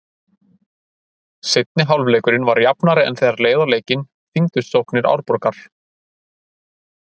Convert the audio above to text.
Seinni hálfleikurinn var jafnari en þegar leið á leikinn þyngdust sóknir Árborgar.